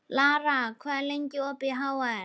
Lara, hvað er lengi opið í HR?